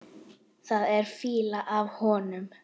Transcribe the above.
Það er fýla af honum.